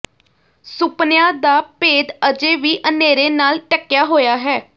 ਸੁਪਨਿਆਂ ਦਾ ਭੇਦ ਅਜੇ ਵੀ ਅਨ੍ਹੇਰੇ ਨਾਲ ਢੱਕਿਆ ਹੋਇਆ ਹੈ